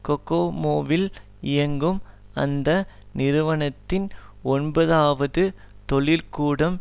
கொகோமோவில் இயங்கும் அந்த நிறுவனத்தின் ஒன்பதுஆவது தொழில்கூடம்